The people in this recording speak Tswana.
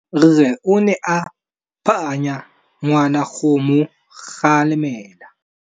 Rre o ne a phanya ngwana go mo galemela.